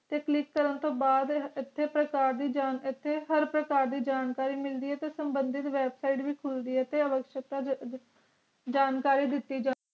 ਤੇ click ਕਾਰਨ ਤੂੰ ਬਾਅਦ ਐਥੇ ਪ੍ਰਕਾਰ ਦੀ ਜਾਂ ਐਥੇ ਹਰ ਪ੍ਰਕਾਰ ਦੀ ਜਾਣਕਾਰੀ ਮਿਲਦੀਆਂ ਤੇ ਸੰਬਿਦ ਵੈਬਸਿਦੇ ਵੀ website ਤੇ ਅਵਿਸ਼ਕਤਾ ਦੀ ਜਾਣਕਾਰੀ ਦਿਤੀ ਜਾਂਦੀਆਂ